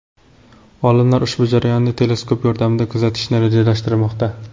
Olimlar ushbu jarayonni teleskop yordamida kuzatishni rejalashtirmoqda.